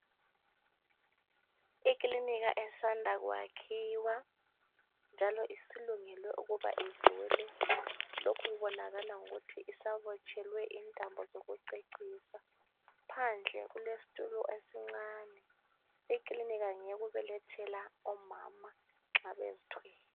Ekilinika esanda kwakhiwa njalo isilungele ukubana ivule lokhu kubonakala ngokuthi isabotshelwe intambo sokucecisa phandle kulestulo esincane ikilinika ngeyokubelethela omama nxa bezithwele.